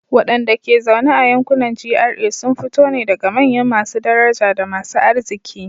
Wadanda ke zaune a yankunan GRA sun fito ne daga manyan masu daraja da masu arziki.